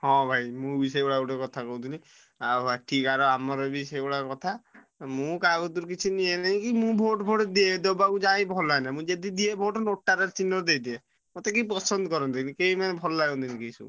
ହଁ ଭାଇ ମୁଁ ବି ସେଇଭଳିଆ ଗୋଟେ କଥା କହୁଥିଲି ଆଉ ଏଠିକାର ଆମର ବି ସେଇଭଳିଆ କଥା ମୁଁ କହକତିରୁ କିଛି ନିୟେନି କି ମୁଁ vote ଫୋଟ ଦିଏ ଦବାକୁ ଯାଏ ଭଲାଏନା ମୁଁ ଯଦି ଦିଏ vote ନୋଟାରେ ଚିହ୍ନରେ ଦେଇଦିଏ। ମେ କେହି ପସନ୍ଦ କରନ୍ତିନି କେହି ମାନେ ଭଲ ଲାଗନ୍ତିନି କେହି।